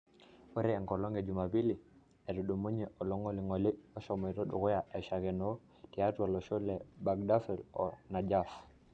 Ore enkolong e jumapili etudumunye olongolingoli eshomoito dukuya aishakeno tiatua loshon le Baghdad o Najaf.